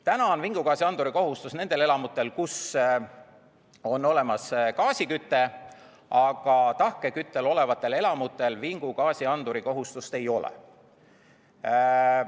Täna on vingugaasianduri kohustus nendel elamutel, kus on gaasiküte, aga tahkeküttel olevatel elamutel vingugaasianduri kohustust ei ole.